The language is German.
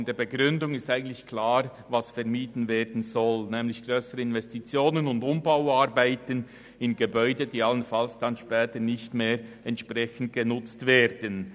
Aus der Begründung wird im Grunde genommen klar, was vermieden werden soll, nämlich grössere Investitionen und Umbauarbeiten an Gebäuden, die allenfalls später nicht mehr entsprechend genutzt werden.